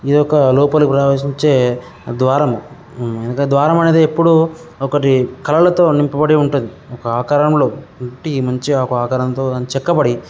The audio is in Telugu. ఇది ఒక లోపలికి ప్రవేశించే ద్వారం. ఊ ద్వారం అనేది ఎప్పుడు వ్యక్తి కళల తో నింపబడి ఉంటుంది. ఒక ఆకారం లో ఉట్టి మంచి గా ఒక ఆకారంతో చెక్కబడి --